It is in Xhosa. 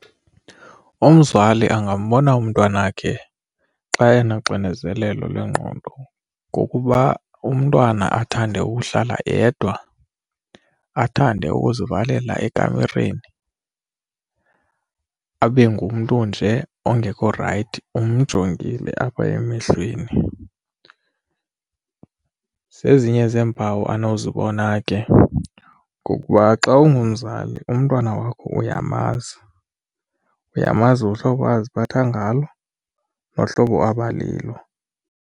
Umzali angambona umntwana wakhe xa enoxinzelelo lwengqondo ngokuba umntwana athande ukuhlala yedwa, athande ukuzivalela ekamereni, abe ngumntu nje ongekho rayithi umjongile apha emehlweni. Zezinye zeempawu anozibona ke ngokuba xa ungumzali umntwana wakho uyamazi, uyamazi uhlobo aziphatha ngalo nohlobo abalilo.